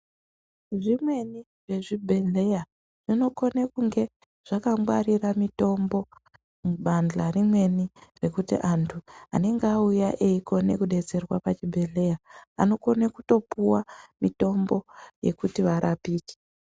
Zvimweni zvezvibhedhlera zvinokone kunge zvakangwarira mitombo mubandla remene kuti antu anenge auya eikone kudetserwa pachibhedhlera, anokone kutopuwa mitombo yekuti varapike.